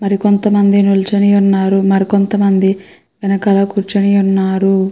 మరి కొంత మంది నిల్చొని ఉన్నారు. మరి కొంత మంది వెనకాల కూర్చొని ఉన్నారు.